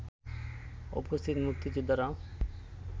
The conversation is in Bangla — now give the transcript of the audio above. উপস্থিত মুক্তিযোদ্ধারাও